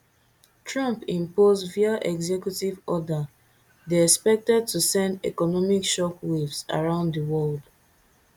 trump impose via executive order dey expected to send economic shockwaves around di world